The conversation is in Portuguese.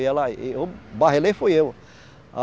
E ela, e eu barrelei, fui eu.